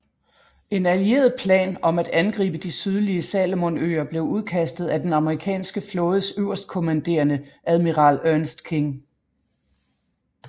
En allieret plan om at angribe de sydlige Salomonøer blev udkastet af den amerikanske flådes øverstkommandrende admiral Ernest King